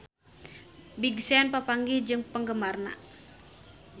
Big Sean papanggih jeung penggemarna